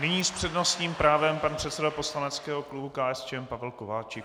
Nyní s přednostním právem pan předseda poslaneckého klubu KSČM Pavel Kováčik.